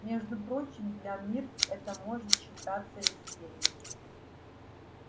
между прочим для мирт это может считаться весельем